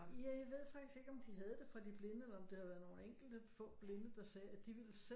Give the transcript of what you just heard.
Ja jeg ved faktisk ikke om de havde det fra de blinde eller om det havde været nogle enkelte få blinde der sagde at de ville selv